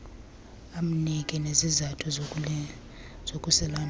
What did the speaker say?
amnike nezizathu zokusilandula